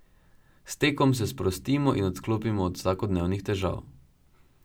S tekom se sprostimo in odklopimo od vsakodnevnih težav.